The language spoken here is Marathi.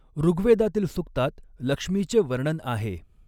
ॠग्वेदातील सूक्तात लक्ष्मीचे वर्णन आहे.